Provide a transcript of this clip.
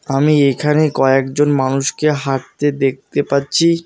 আমি এইখানে কয়েকজন মানুষকে হাঁটতে দেখতে পাচ্ছি।